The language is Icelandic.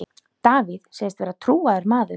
Davíð segist vera trúaður maður.